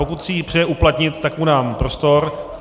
Pokud si ji přeje uplatnit, tak mu dám prostor.